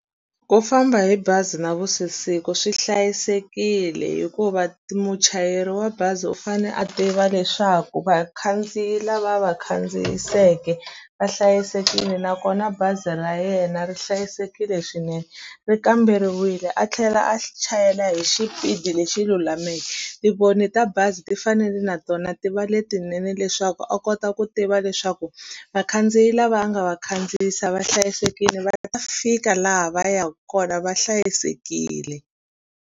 Ku famba hi bazi na vusiku swi hlayisekile hikuva muchayeri wa bazi u fane a tiva leswaku vakhandziyi lava a va khandziyiseke va hlayisekile nakona bazi ra yena ri hlayisekile swinene ri kamberiwile a tlhela a chayela hi xipidi lexi lulameke tivoni ta bazi ti fanele na tona ti va letinene leswaku a kota ku tiva leswaku vakhandziyi lava a nga va khandziyisa va hlayisekile va nga ta fika laha va yaka kona va hlayisekile.